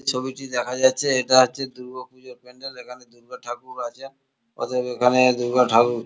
ছবিটি দেখা যাচ্ছে এটা হচ্ছে দূর্গা পুজোর প্যান্ডেল এখানে দূর্গা ঠাকুর আছে অতএব এখানে দূর্গা ঠাকুর--